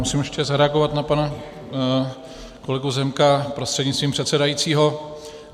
Musím ještě zareagovat na pana kolegu Zemka prostřednictvím předsedajícího.